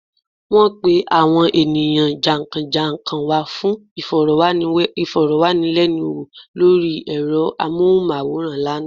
Wọ́n pe àwọn ènìyàn jà n kán jà n kán wa fun ìfọ̀rọ̀wánilẹ́nuwò lórí ẹ̀rọ amóhùnmáwòràn lánàá